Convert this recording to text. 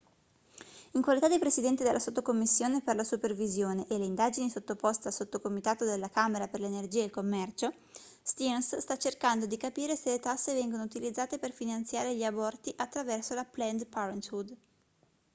in qualità di presidente della sottocommissione per la supervisione e le indagini sottoposta al sottocomitato della camera per l'energia e il commercio stearns sta cercando di capire se le tasse vengono utilizzate per finanziare gli aborti attraverso la planned parenthood